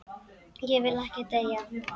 Ég vil ekki deyja.